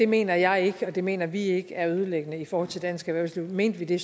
mener jeg ikke og det mener vi ikke er ødelæggende for dansk erhvervsliv mente vi det